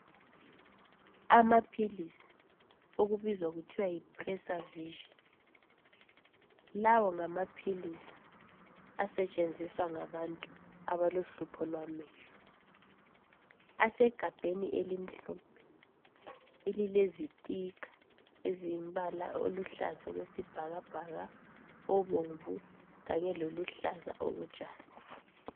Amapills akubizizwa kuthiwe yipreservision lawo ngamapills asetshinziswa ngabantu abalohlupho lwamehlo asegabheni elimhlophe elilezisticker ezilo mbala oluhlaza okwesibhakabhaka obomvu kanye loluhlaza okotshani